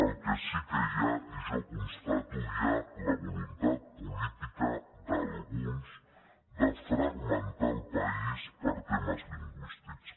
el que sí que hi ha i jo ho constato és la voluntat política d’alguns de fragmentar el país per temes lingüístics